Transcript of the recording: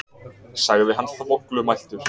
sagði hann þvoglumæltur.